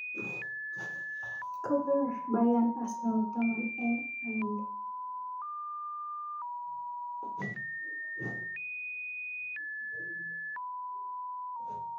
Kobir Beryern Arsenal taman eng aeng